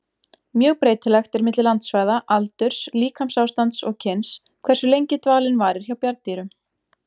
Mjög breytilegt er milli landsvæða, aldurs, líkamsástands og kyns hversu lengi dvalinn varir hjá bjarndýrum.